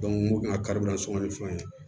n ko kari sun ni fɛnw ye